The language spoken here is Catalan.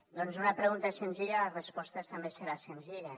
doncs una pregunta senzilla la resposta també serà senzilla